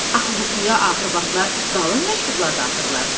Axı qutuya axır vaxtlar qalın məktublar da atırlar.